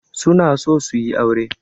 Su na so su yi aure.